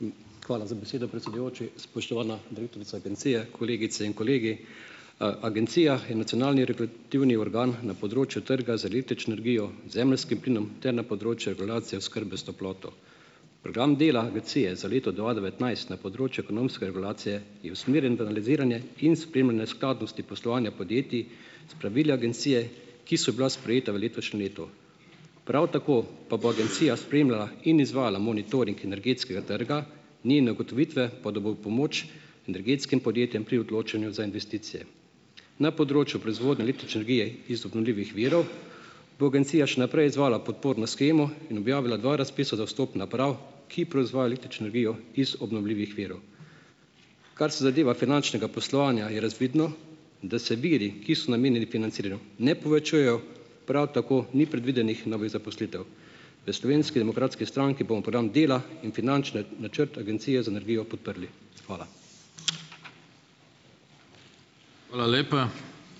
Hvala za besedo, predsedujoči! Spoštovana direktorica agencije, kolegice in kolegi! Agencija je nacionalni regulativni organ na področju trga za električno energijo, zemeljskim plinom ter na področju regulacije oskrbe s toploto. Program dela agencije za leto dva devetnajst na področju ekonomske regulacije je usmerjen v analiziranje in spremljanje skladnosti poslovanja podjetij, s pravili agencije, ki so bila sprejeta v letošnjem letu. Prav tako pa bo agencija spremljala in izvajala monitoring energetskega trga, njene ugotovitve pa bodo v pomoč energetskim podjetjem pri odločanju za investicije. Na področju proizvodnje električne energije iz obnovljivih virov bo agencija še naprej izvajala podporno shemo in objavila dva razpisa za vstop naprav, ki proizvajajo električno energijo iz obnovljivih virov. Kar se zadeva finančnega poslovanja, je razvidno, da se viri, ki so namenjeni financiranju, ne povečujejo, prav tako ni predvidenih novih zaposlitev. V Slovenski demokratski stranki bomo program dela in finančne načrte Agencije za energijo podprli. Hvala.